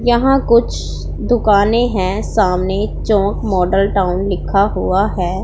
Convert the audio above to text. यहां कुछ दुकानें हैं सामने चौक मॉडल टाउन लिखा हुआ है।